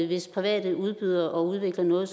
hvis private udbydere udvikler noget